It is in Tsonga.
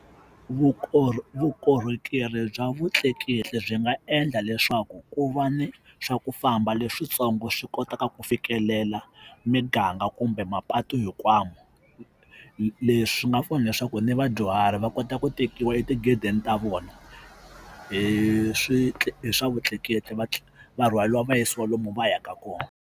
vukorhokeri bya vutleketli byi nga endla leswaku ku va ni swa ku famba leswitsongo swi kotaka ku fikelela miganga kumbe mapatu hinkwawo leswi nga pfuna leswaku ni vadyuhari va kota ku tekiwa etigedeni ta vona hi hi swa vutleketli va va rhwariwa vayisiwa lomu va yaka kona.